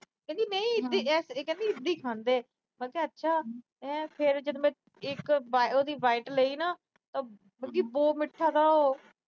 ਕਹਿੰਦੀ ਨਹੀ ਇਦਾਂ ਈ ਖਾਂਦੇ ਆ। ਮੈਂ ਕਿਹਾ ਅੱਛਾ। ਫਿਰ ਉਹਦੀ ਮੈਂ ਇੱਕ ਬਾ ਅਹ bite ਲਈ ਨਾ, ਤਾਂ ਬਲਕਿ ਬਹੁਤ ਮਿੱਠਾ ਥਾ ਉਹ।